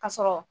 Ka sɔrɔ